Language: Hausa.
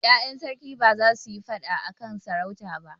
Ƴaƴan sarki ba za su yi faɗa a kan sarauta ba.